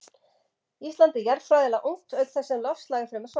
Ísland er jarðfræðilega ungt auk þess sem loftslag er fremur svalt.